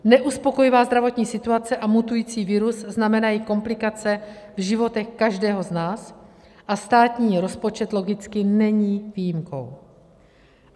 Neuspokojivá zdravotní situace a mutující virus znamenají komplikace v životech každého z nás a státní rozpočet logicky není výjimkou.